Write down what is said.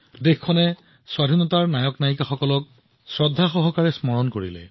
দেশবাসীয়ে স্বাধীনতাৰ নায়ক আৰু নায়িকাসকলক স্মৰণ কৰিছিল আৰু তেওঁলোকক শ্ৰদ্ধাৰে স্মৰণ কৰিছিল